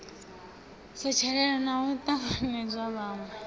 setshelela na u tanganedza vhanwe